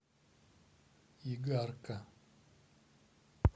игарка